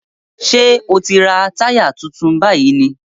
Ṣé ò ń ra táyà tuntun báyìí ni?